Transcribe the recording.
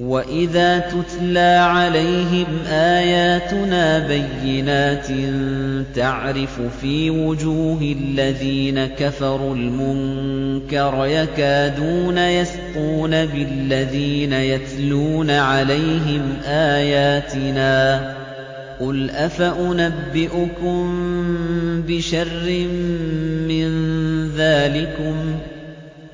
وَإِذَا تُتْلَىٰ عَلَيْهِمْ آيَاتُنَا بَيِّنَاتٍ تَعْرِفُ فِي وُجُوهِ الَّذِينَ كَفَرُوا الْمُنكَرَ ۖ يَكَادُونَ يَسْطُونَ بِالَّذِينَ يَتْلُونَ عَلَيْهِمْ آيَاتِنَا ۗ قُلْ أَفَأُنَبِّئُكُم بِشَرٍّ مِّن ذَٰلِكُمُ ۗ